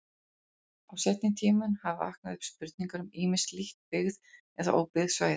Á seinni tímum hafa vaknað upp spurningar um ýmis lítt byggð eða óbyggð svæði.